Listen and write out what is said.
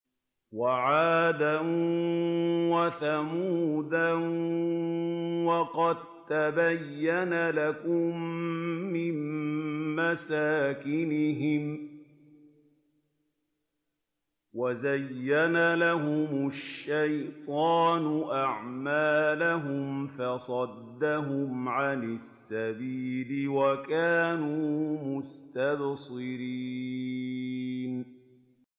وَعَادًا وَثَمُودَ وَقَد تَّبَيَّنَ لَكُم مِّن مَّسَاكِنِهِمْ ۖ وَزَيَّنَ لَهُمُ الشَّيْطَانُ أَعْمَالَهُمْ فَصَدَّهُمْ عَنِ السَّبِيلِ وَكَانُوا مُسْتَبْصِرِينَ